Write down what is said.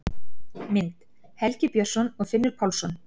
Mynd: Helgi Björnsson og Finnur Pálsson.